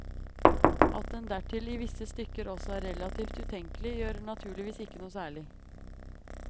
At den dertil i visse stykker også er relativt utenkelig, gjør naturligvis ikke noe særlig.